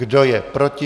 Kdo je proti?